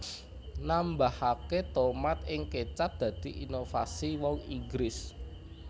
Nambahaké tomat ing kecap dadi inovasi wong Inggris